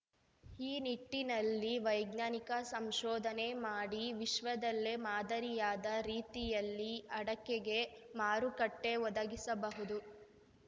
ಈ ನಿಟ್ಟಿನಲ್ಲಿ ವೈಜ್ಞಾನಿಕ ಸಂಶೋಧನೆ ಮಾಡಿ ವಿಶ್ವದಲ್ಲೇ ಮಾದರಿಯಾದ ರೀತಿಯಲ್ಲಿ ಅಡಕೆಗೆ ಮಾರುಕಟ್ಟೆಒದಗಿಸಬಹುದು